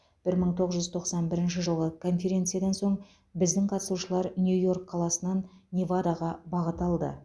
бір мың тоғыз жүз тоқсан бірінші жылы конференциядан соң біздің қатысушылар нью йорк қаласынан невадаға бағыт алды